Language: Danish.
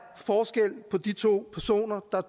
forskel på de to personer der